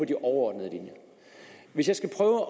de overordnede linjer hvis jeg skal prøve